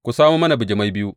Ku samo mana bijimai biyu.